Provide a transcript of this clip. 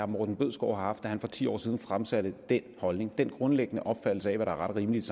morten bødskov har haft da han for ti år siden fremsatte den holdning den grundlæggende opfattelse af hvad der ret og rimeligt